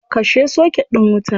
Kashe soket din wuta.